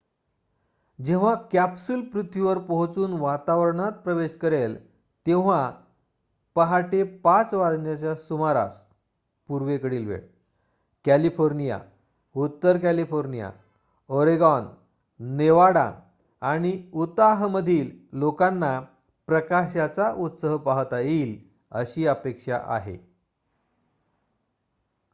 जेव्हा कॅप्सूल पृथ्वीवर पोहोचून वातावरणात प्रवेश करेल तेव्हा पाहाटे ५ वाजण्याच्या सुमारास पूर्वेकडील वेळ कॅलिफोर्निया उत्तर कॅलिफोर्निया ओरेगॉन नेवाडा आणि उताहमधील लोकांना प्रकाशाचा उत्सव पाहता येईल अशी अपेक्षा आहे